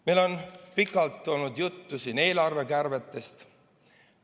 Meil on siin pikalt olnud juttu eelarvekärbetest.